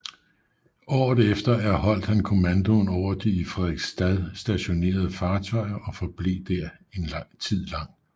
Året efter erholdt han kommandoen over de i Frederiksstad stationerede fartøjer og forblev der en tid lang